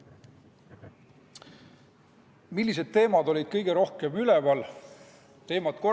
Millised teemad olid kõige rohkem üleval?